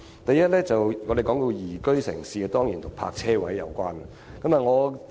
第一，關於宜居城市，這當然與泊車位有關。